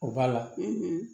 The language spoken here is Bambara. O b'a la